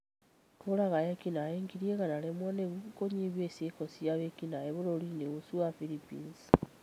kũũraga eki-naĩ ngiri igana rĩmwe nĩguo kunyihia ciiko cia wĩki-naĩ bũrũri-inĩ ũcio wa Philippines.